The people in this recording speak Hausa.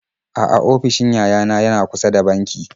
A'a ofishin yayana yana kusa da banki.